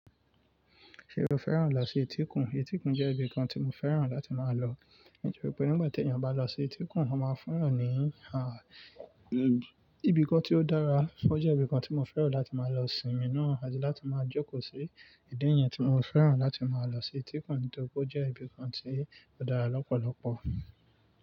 Ṣé o fẹ́ràn lọ sí etíkun? Etíkun jẹ́ ibìkan tí mo fẹ́ràn láti máa lọ, nítorí pé nígbà tí ènìyàn bá lọ sí etíkun, wọ́n máa fún wọn ní, ibìkan tí ó dára. Ó jẹ́ ibìkan tí mo fẹ́ràn láti máa lọ sinmi náà àti láti máa jókò sí. Idi niyẹn tí mo fẹ́ràn láti máa lọ sí etíkun nítorí pé ó jẹ́ ibìkan tí ó dára lọ́pọ̀lọ́pọ̀.